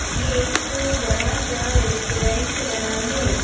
ये एक बड़ा सा रेस्टोरेंट बना है।